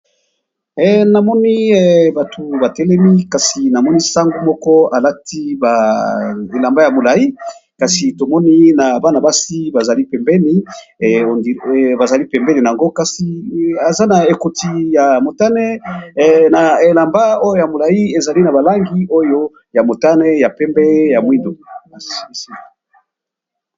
namoni bato batelemi kasi namoni sango moko alati baelamba ya molai kasi tomoni na bana-basi bazali pembeni a yango kasi eza na ekoti ya motane na elamba oyo ya molai ezali na balangi oyo ya motane ya pembe ya mwindo babsi